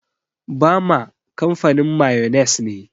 Bama kamfanin mayones ne.